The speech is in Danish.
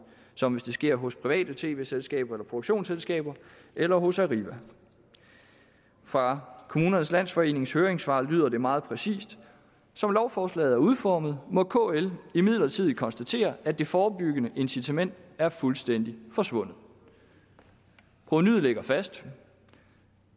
som hvis de sker hos private tv selskaber eller produktionsselskaber eller hos arriva fra kommunernes landsforenings høringssvar lyder det meget præcist som lovforslaget nu er udformet må kl imidlertid konstatere at det forebyggende incitament er fuldstændig forsvundet provenuet ligger fast